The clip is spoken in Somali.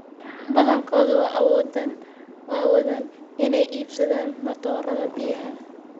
Badankoodu ma awoodaan inay iibsadaan matoorada biyaha.